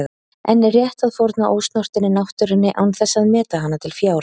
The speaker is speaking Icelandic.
En er rétt að fórna ósnortinni náttúrunni án þess að meta hana til fjár?